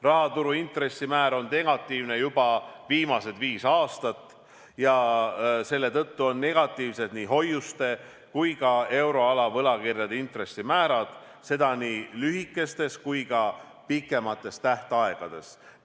Rahaturu intressimäär on negatiivne juba viimased viis aastat ja selle tõttu on negatiivsed nii hoiuste kui ka euroala võlakirjade intressimäärad, seda nii lühikeste kui ka pikemate tähtaegadega.